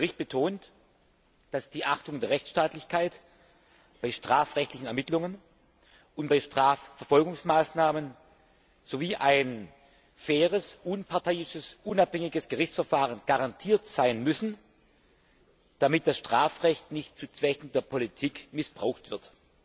Der Bericht betont, dass die Achtung der Rechtsstaatlichkeit bei strafrechtlichen Ermittlungen und bei Strafverfolgungsmaßnahmen sowie ein faires, unparteiisches und unabhängiges Gerichtsverfahren garantiert sein müssen, damit das Strafrecht nicht zu politischen Zwecken missbraucht wird.